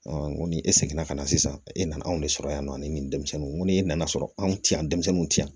n ko ni e seginna ka na sisan e nana anw de sɔrɔ yan nɔ ani denmisɛnninw ko ni e nana sɔrɔ anw ti yan denmisɛnninw tɛ yan